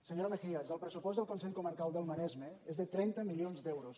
senyora mejías el pressupost del consell comarcal del maresme és de trenta milions d’euros